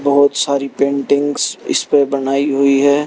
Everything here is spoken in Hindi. बहुत सारी पेंटिंग्स इस पे बनाई हुई है।